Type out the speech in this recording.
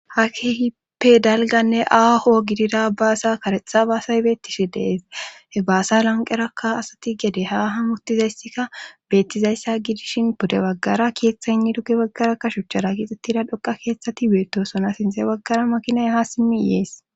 ha kehippe dalganne aaho gidida baasa karexha baasay beettishi deeshe baasa lanqerakka asati gede ha hamuttizayssika bettizayssa gidishin pude baggara keeththa inniduge baggarakka shuchchara giixxettida dhoqa keeththati beettosona sinze baggara makinay ha simmi iyees